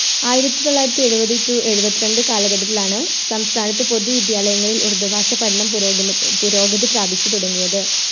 ആയിരത്തിത്തൊള്ളായിരത്തി എഴുപത് To എഴുപത്രണ്ട് കാലഘട്ടത്തിലാണ് സംസ്ഥാനത്ത് പൊതു വിദ്യാലയങ്ങളിൽ ഉറുദു ഭാഷ പഠനം പുരോഗമ പുരോഗതി പ്രാപിച്ചു തുടങ്ങിയത്